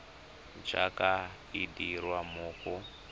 jaaka e dirwa mo go